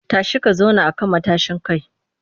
Tashi ka zauna a kan matashin kai!